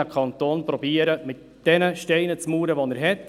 Der Kanton muss versuchen, mit den Steinen zu mauern, die er hat.